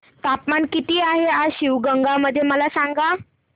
तापमान किती आहे आज शिवगंगा मध्ये मला सांगा